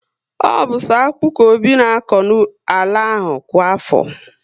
Ọ bu so akpu ka Obi na akọ n'ala ahụ kwa afọ